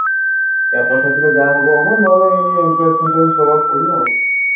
campus ରେ ଯାହା ହବ ହବ ନହେଲେ ଏଇ entrance ଫ୍ରେଣ୍ଟ୍ରାଂସ ଦବାକୁ ପଡିବ